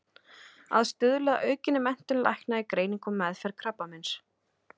Að stuðla að aukinni menntun lækna í greiningu og meðferð krabbameins.